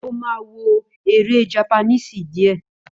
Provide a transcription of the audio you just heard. Ó má wó èré jápánísí dìé